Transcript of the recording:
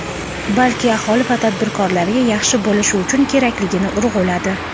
balki aholi va tadbirkorlarga yaxshi bo‘lishi uchun kerakligini urg‘uladi.